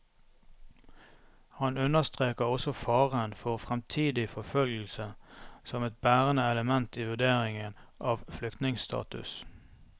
Han understreker også faren for fremtidig forfølgelse som et bærende element i vurderingen av flyktningestatus.